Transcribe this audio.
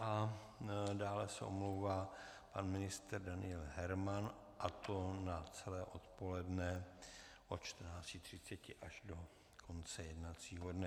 A dále se omlouvá pan ministr Daniel Herman, a to na celé odpoledne od 14.30 až do konce jednacího dne.